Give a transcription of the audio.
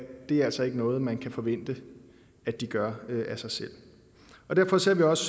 det altså ikke er noget man kan forvente de gør af sig selv derfor ser vi også